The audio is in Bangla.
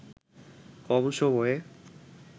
কম সময়ে